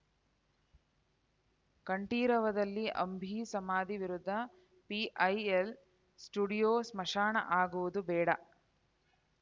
ಕಂಠೀರವದಲ್ಲಿ ಅಂಬಿ ಸಮಾಧಿ ವಿರುದ್ಧ PIL studio ಸ್ಮಶಾನ ಆಗುವುದು ಬೇಡ